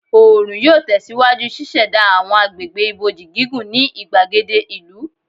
Oorun yoo tẹsiwaju ṣiṣẹda awọn agbegbe iboji gigun ni igbagede ìlú